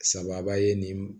Sababa ye nin